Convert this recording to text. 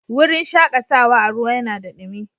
Wurin shakatawa a ruwa yanada dumi.